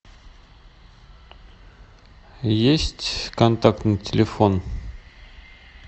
есть контактный телефон